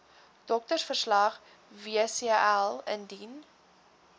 doktersverslag wcl indien